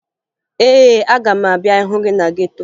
Ee, aga m abịa hụ gị na geto